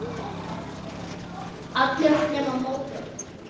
allir nema móðir mín